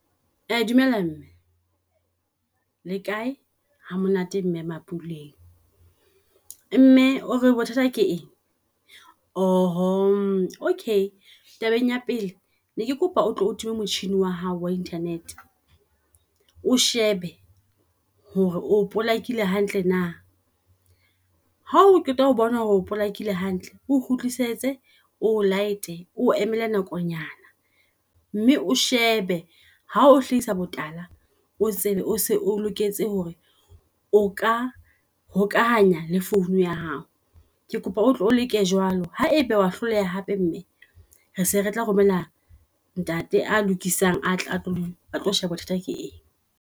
Dumela mme, le kae hamonate mme MaPule. Mme o re bothata ke eng? Okay tabeng ya pele, ne ke kopa o tlo o tumme motjhini wa hao wa internet. O shebe hore o polakile hantle na, ha o qeta ho bona hore o polakile hantle. O kgutlisetse o late o emele nakonyana mme o shebe ha o hlahisa botala, o tsebe o se o loketse hore o ka hokahanya le phone ya hao. Ke kopa otle o leke jwalo, haebe wa hloleha hape mme re se re tla romela ntate a lokisang a tlo a tlo sheba bothata ke eng.